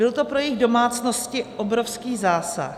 Byl to pro jejich domácnosti obrovský zásah.